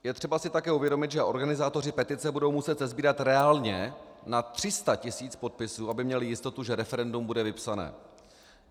Je třeba si také uvědomit, že organizátoři petice budou muset sesbírat reálně na 300 tisíc podpisů, aby měli jistotu, že referendum bude vypsané.